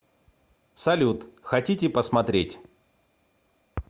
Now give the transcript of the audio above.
салют хотите посмотреть